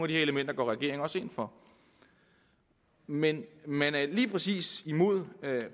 de elementer går regeringen også ind for men man er lige præcis imod